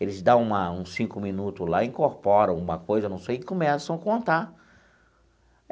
Eles dão uma uns cinco minutos lá, incorporam uma coisa, não sei, e começam a contar.